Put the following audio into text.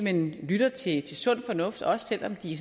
hen lytter til sund fornuft også selv om de